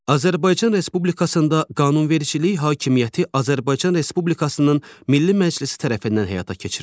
Azərbaycan Respublikasında qanunvericilik hakimiyyəti Azərbaycan Respublikasının Milli Məclisi tərəfindən həyata keçirilir.